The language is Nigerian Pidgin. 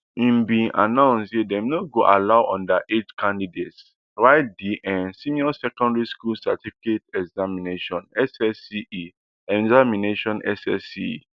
im bin announce say dem no go allow underage candidates write di um senior secondary school certificate examinations ssce examinations ssce